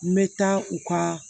N bɛ taa u ka